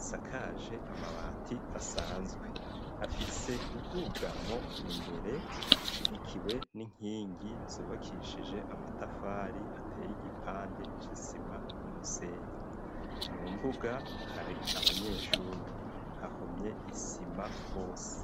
Isakaje amabati asanzwe afise ubwugamo imbere bushigikiwe n'inkingi zubakishije amatafari ateye igipande c'isima n'umusenyi. Mu mbuga hari abanyeshuri, hahomye isima hose.